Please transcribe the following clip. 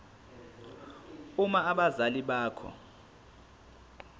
uma abazali bakho